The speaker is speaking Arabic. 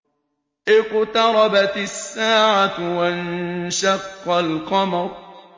اقْتَرَبَتِ السَّاعَةُ وَانشَقَّ الْقَمَرُ